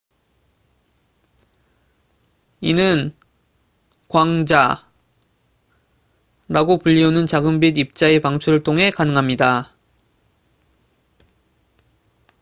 이는 "광자""라고 불리우는 작은 빛 입자의 방출을 통해 가능합니다.